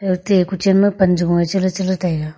ate kochen kochen ma pan che gung nge chale chale taiga.